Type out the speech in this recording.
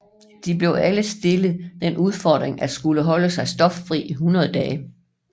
De blev alle stillet den udfordring at skulle holde sig stoffri i 100 dage